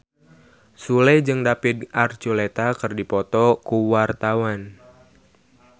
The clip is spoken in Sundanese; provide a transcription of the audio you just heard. Sule jeung David Archuletta keur dipoto ku wartawan